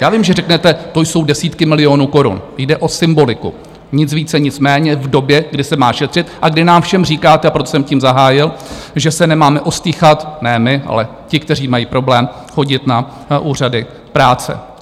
Já vím, že řeknete, to jsou desítky milionů korun, jde o symboliku, nic více, nic méně, v době, kdy se má šetřit a kdy nám všem říkáte, a proto jsem tím zahájil, že se nemáme ostýchat, ne my, ale ti, kteří mají problém, chodit na úřady práce.